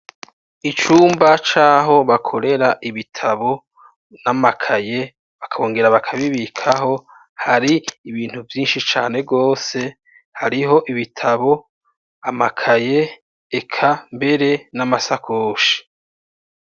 Icumba caho bakorera ibitabo n'amakaye bakongera bakabibikaho hari ibintu vyinshi cane gose hariho ibitabo, amakaye eka mbere n'amasakoshi.